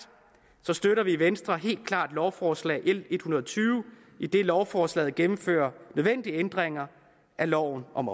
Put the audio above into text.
støtter vi i venstre helt klart lovforslag l en hundrede og tyve idet lovforslaget gennemfører nødvendige ændringer af loven om